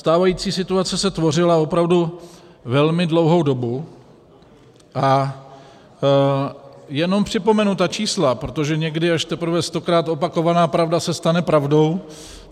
Stávající situace se tvořila opravdu velmi dlouhou dobu a jenom připomenu ta čísla, protože někdy až teprve stokrát opakovaná pravda se stane pravdou.